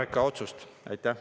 Aitäh!